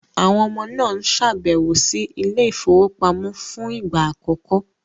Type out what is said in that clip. Àwọn ọmọ náà ń ṣàbẹ̀wò sí ilé ìfowópamọ́ fún ìgbà àkọ́kọ́.